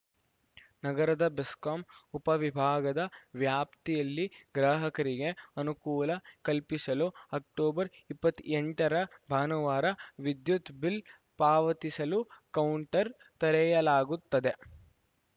ನಗರದ ಬೆಸ್ಕಾಂ ಉಪ ವಿಭಾಗದ ವ್ಯಾಪ್ತಿಯಲ್ಲಿ ಗ್ರಾಹಕರಿಗೆ ಅನುಕೂಲ ಕಲ್ಪಿಸಲು ಅಕ್ಟೋಬರ್‌ ಇಪ್ಪತ್ತೆಂಟರ ಭಾನುವಾರ ವಿದ್ಯುತ್‌ ಬಿಲ್‌ ಪಾವತಿಸಲು ಕೌಂಟರ್‌ ತೆರೆಯಲಾಗುತ್ತದೆ